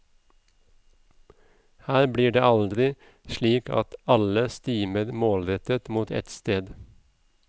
Her blir det aldri slik at alle stimer målrettet mot ett sted.